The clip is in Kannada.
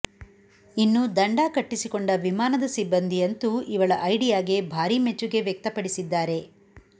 ಇನ್ನು ದಂಡ ಕಟ್ಟಿಸಿಕೊಂಡ ವಿಮಾನದ ಸಿಬ್ಬಂದಿಯಂತೂ ಇವಳ ಐಡಿಯಾಗೆ ಭಾರಿ ಮೆಚ್ಚುಗೆ ವ್ಯಕ್ತಪಡಿಸಿದ್ದಾರೆ